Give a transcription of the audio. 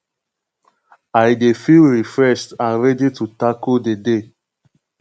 i dey feel refreshed and ready to tackle di day